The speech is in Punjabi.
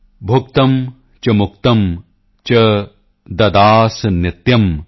ਭੁਕਤਿਮ੍ ਚ ਮੁਕਤਿਮ੍ ਚ ਦਦਾਸਿ ਨਿਤਯਮ੍